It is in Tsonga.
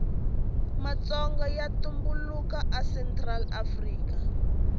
matsonga yatumbulaka a central afrika